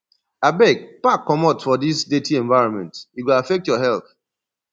abeg pack comot from dis dirty environment e go affect your health